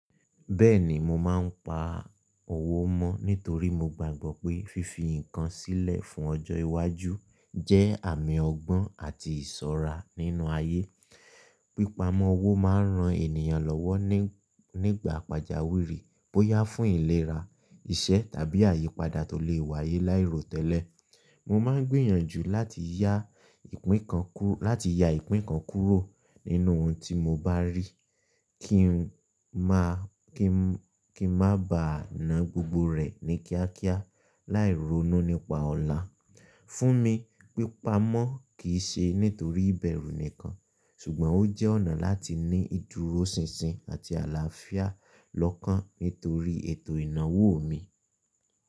Bẹ́ẹ̀ni, mo máa ń pa owó mọ́ nítorí mo gbàgbọ́ pé fífi nǹkan sílẹ̀ fún ọjọ́ iwájú jẹ́ àmì ọgbọ́n àti ìṣọ́ra nínú ayé. Pípamọ́ owó máa ń ran ènìyàn lọ́wọ́ nígbà pàjáwìrì bóyá fún ìlera, iṣẹ́ tàbí àyípadà tó lè wáyé láìròtẹ́lẹ̀. Mo máa ń gbìyànjú láti ya ìpín kan kúrò nínú ohun tí mo bá rí kí n maá bà ná gbogbo rẹ̀ ní kíákíá láì ronú nípa ọ̀la. Fún mi, pípa ọmọ kì í ṣe nítorí ìbẹ̀rù nìkan, ṣùgbọ́n ó jẹ́ ọ̀nà láti ní ìdúróṣinṣin àti àlàáfíà lọ́kàn nítorí ètò ìnáwó mi.